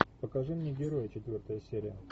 покажи мне герой четвертая серия